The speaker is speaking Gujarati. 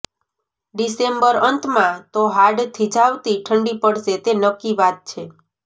ડિસેમ્બર અંતમાં તો હાડ થીજાવતી ઠંડી પડશે તે નક્કી વાત છે